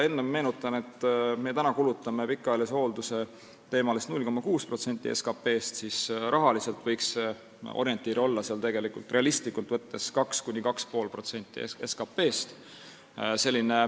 Ma meenutan, et kui me täna kulutame pikaajalise hoolduse peale 0,6% SKT-st, siis rahaliselt võiks orientiir realistlikult võttes olla 2–2,5% SKT-st.